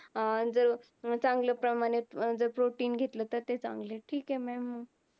अह जर चांगल्या प्रमाणे जर protein घेतल तर ते चांगल आहे. ठीक आहे maa'm.